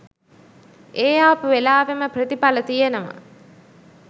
ඒ ආපු වෙලාවේම ප්‍රතිඵල තියෙනවා.